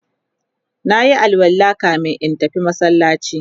nayi alwala kamin in tafi masallaci